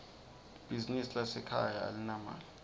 libizinsi lasekhaya alinamali